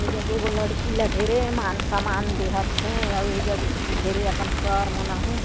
ए जगे वो लड़की ल ढेरे हे मान सम्मान देहत हे अऊ एजग ढेरे अकन सर मन आहे।